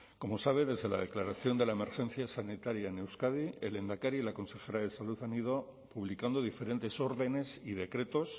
como sabe desde la declaración de la emergencia sanitaria en euskadi el lehendakari y la consejera de salud han ido publicando diferentes órdenes y decretos